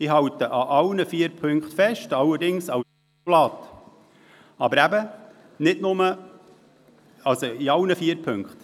Ich halte an allen vier Ziffern fest, allerdings bei allen vier Ziffern als Postulat.